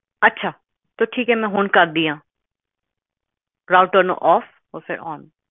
ਅੱਛਾ ਤਾ ਠੀਕ ਆ ਮੈਂ ਹੁਣ ਕਰਦੀ ਆ ਰਾਊਟਰ ਨੂੰ ਓਫ ਫੇਰ ਓਨ